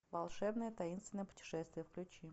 волшебное таинственное путешествие включи